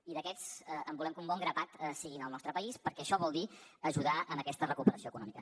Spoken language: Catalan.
i d’aquests volem que un bon grapat siguin al nostre país perquè això vol dir ajudar en aquesta recuperació econòmica